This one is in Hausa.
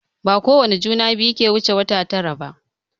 Bakowane juna biyu ke wuce wata tara ba.